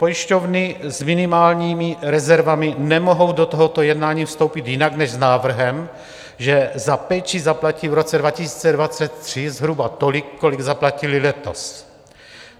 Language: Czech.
Pojišťovny s minimálními rezervami nemohou do tohoto jednání vstoupit jinak než s návrhem, že za péči zaplatí v roce 2023 zhruba tolik, kolik zaplatily letos.